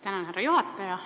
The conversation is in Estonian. Tänan, härra juhataja!